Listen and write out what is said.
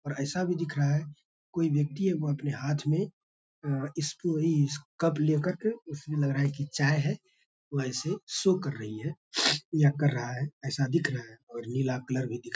ऐसा भी दिख रहा है कोई व्यक्ति है वो अपने हाथ में अ कप लेकर के उसमें लग रहा है की चाय है वैसे शो कर रही है या कर रहा है ऐसा दिख रहा है और नीला कलर भी दिख --